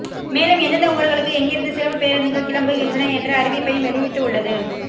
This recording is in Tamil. மேலும் எந்தெந்த ஊர்களுக்கு எங்கிருந்து சிறப்புப் பேருந்துகள் கிளம்புகின்றன என்ற அறிவிப்பையும் வெளியிட்டு உள்ளது